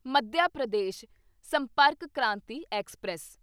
Madhya Pradesh Sampark Kranti express